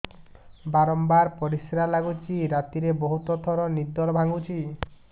ବାରମ୍ବାର ପରିଶ୍ରା ଲାଗୁଚି ରାତିରେ ବହୁତ ଥର ନିଦ ଭାଙ୍ଗୁଛି